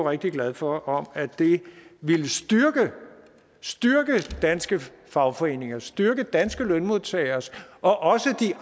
rigtig glad for om at det ville styrke danske fagforeninger styrke danske lønmodtageres og også de